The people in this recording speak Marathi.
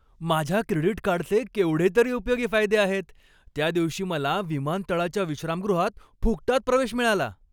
माझ्या क्रेडिट कार्डचे केवढे तरी उपयोगी फायदे आहेत. त्यादिवशी मला विमानतळाच्या विश्रामगृहात फुकटात प्रवेश मिळाला.